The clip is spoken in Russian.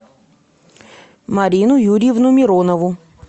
марину юрьевну миронову